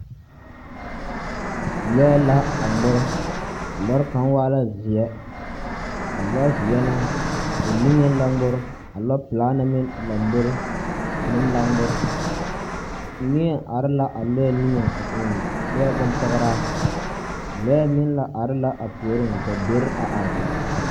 Lͻԑ la aŋmore. A lͻre kaŋa waa la zeԑ. A lͻzeԑ na, o niŋe la ŋmore. A lͻͻpelaa na meŋ lombori meŋ la ŋmore. Neԑ are la a lͻͻ niŋe a eŋ nͻԑ bompͻgeraa. Lͻԑ meŋ la are la a puoriŋ ka deri a are.